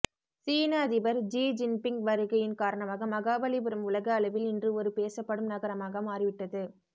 சீன அதிபர் Xi Jinping வருகையின் காரணமாக மகாபலிபுரம் உலக அளவில் இன்று ஒரு பேசப்படும் நகரமாக மாறிவிட்டது